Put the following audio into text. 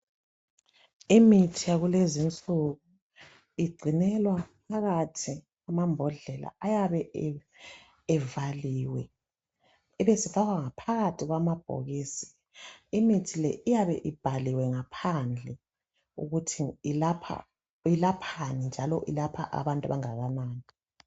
Imithi yakulezinsuku igcinelwa phakathi kwamambodlela ayabe evaliwe ebesefakwa ngaphakathi kwamabhokisi imithi le iyabe ibhaliwe ngaphandle ukuthi ilaphani njalo ilapha abantu abangakanani